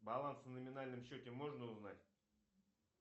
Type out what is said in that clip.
баланс на номинальном счете можно узнать